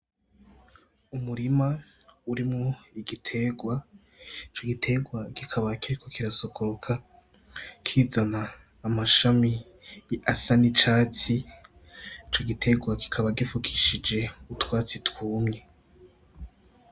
Umurima urimwo igiterwa ico giterwa kikaba kiriko kirasokoroka kizana amashami asa n'icatsi ico giterwa kikaba gipfukishije utwatsi twumye.